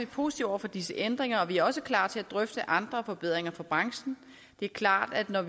positive over for disse ændringer og vi er også klar til at drøfte andre forbedringer for branchen det er klart at når